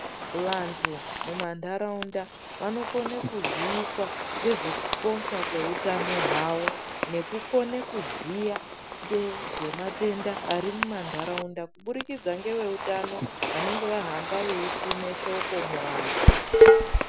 Vantu mumanharaunda vanokone kuziiswa ngezvekukosha kweutano hwavo nekukone kuziya ngezvematenda ari mumanharaunda kubudkidza ngeveutano vanenge vahamba veisime shoko muantu.